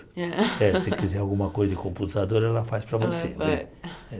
É se quiser alguma coisa de computador, ela faz para você.